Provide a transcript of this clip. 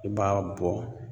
I b'a bɔ